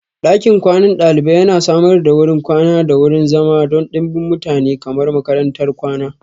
Ɗakin kwanan ɗalibai yana samar da wurin kwana da wurin zama don ɗimbin mutane kamar makarantar kwana.